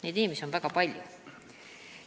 Neid inimesi on väga palju.